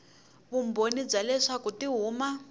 vumbhoni bya leswaku ti huma